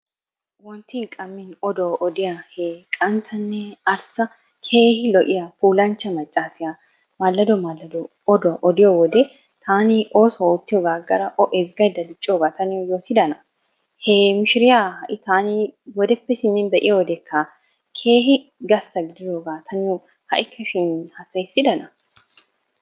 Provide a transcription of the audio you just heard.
Wonttin qammi oduwa odiya he qanttanne arssa keehi lo'iya puulanchcha maccaasiya maallado maallado oduwa odiyo wode taani oosuwa oottiyogan aggada o ezggayidda diccoogaa ta niyo yootidanaa? He mishiriya ha'i taani wodeppe simmin be'iyodeekka keehi gastta gidiyoogaa ta niyo ha'ikkashin hassayissidana?